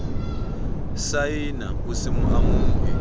saena ho se mo amohe